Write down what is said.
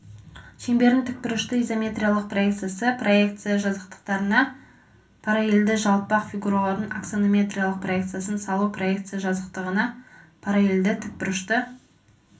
шеңбердің тікбұрышты изометриялық проекциясы проекция жазықтықтарына параллельді жалпақ фигуралардың аксонометриялық проекциясын салу проекция жазықтығына параллельді тікбұрышты